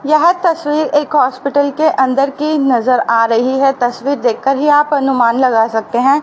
यह तस्वीर एक हॉस्पिटल के अंदर की नजर आ रही है तस्वीर देखकर ही आप अनुमान लगा सकते है।